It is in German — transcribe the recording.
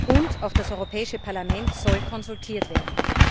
Und auch das Europäische Parlament soll konsultiert werden.